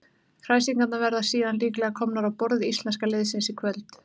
Kræsingarnar verða síðan líklega komnar á borð íslenska liðsins í kvöld.